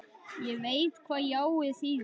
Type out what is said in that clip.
Ég veit hvað jáið þýðir.